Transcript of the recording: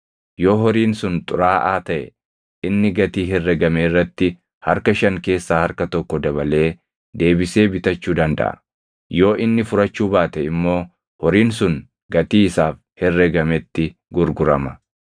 Yoo horiin sun xuraaʼaa taʼe inni gatii herregame irratti harka shan keessaa harka tokko dabalee deebisee bitachuu dandaʼa. Yoo inni furachuu baate immoo horiin sun gatii isaaf herregametti gurgurama.